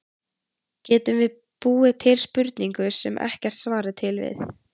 Getum við búið til spurningu, sem ekkert svar er til við?